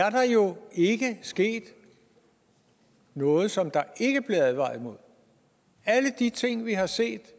at der jo ikke er sket noget som der ikke blev advaret mod alle de ting vi har set